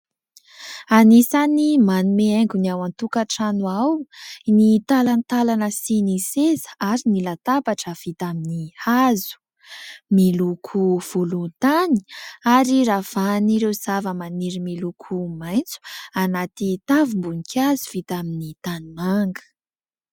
Anisan'ny manome haingo ny ao an-tokatrano ao ny talantalana sy ny seza ary ny latabatra vita amin'ny hazo. Miloko volontany ary ravahan'ireo zavamaniry miloko maitso anaty tavim-boninkazo vita amin'ny tanimanga.